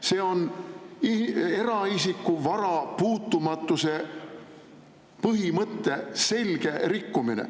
See on eraisiku vara puutumatuse põhimõtte selge rikkumine.